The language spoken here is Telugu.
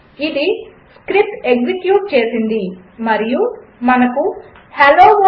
అది స్క్రిప్ట్ ఎక్సిక్యూట్ చేసింది మరియు మనకు హెల్లో వర్ల్డ్